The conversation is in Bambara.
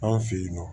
Anw fe yen nɔ